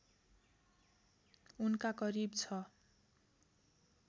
उनका करिब ६